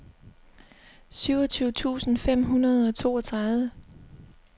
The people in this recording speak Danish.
syvogtyve tusind fem hundrede og toogtredive